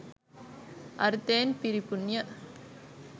අර්ථයෙන් පිරිපුන්ය.